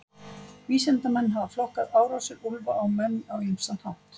Vísindamenn hafa flokkað árásir úlfa á menn á ýmsan hátt.